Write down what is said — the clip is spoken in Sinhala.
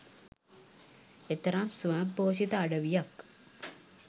එතරම්ම ස්වයංපෝෂිත අඩවියක්.